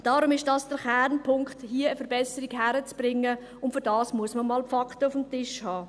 Deshalb ist das der Kernpunkt, hier eine Verbesserung hinzukriegen, und dafür muss man einmal die Fakten auf dem Tisch haben.